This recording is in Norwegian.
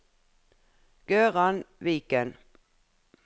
Gøran Viken